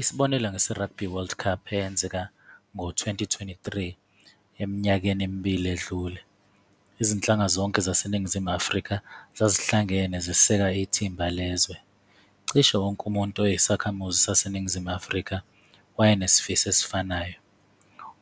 Isibonelo ngese-Rugby World Cup eyenzeka ngo-twenty twenty-three eminyakeni emibili edlule, izinhlanga zonke zaseNingizimu Afrika zazihlangene ziseka ithimba lezwe. Cishe wonke umuntu oyisakhamuzi saseNingizimu Afrika wayenesifiso esifanayo